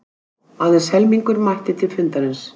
Aðeins helmingur mætti til fundarins